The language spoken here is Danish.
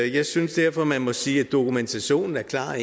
jeg synes derfor man må sige at dokumentationen er klar